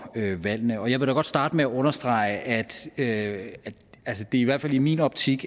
valgene jeg vil da godt starte med at understrege at det i hvert fald i min optik